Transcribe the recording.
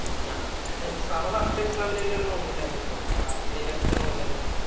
നമ്മെ first exam ഇന് തന്നെയാണ് നോമ്പ് ഇല്ലാതിരുന്നതു. ബാക്കി ഉള്ളതൊക്കെ നോക്കല്